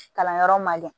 Kalanyɔrɔ man ɲɛ